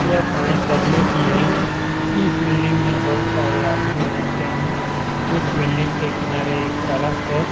यह पाये तल्ले की है । इस बिल्डिंग में बहुत सारे आदमी रहते हैं | इस बिल्डिंग के किनारे एक सड़क है ।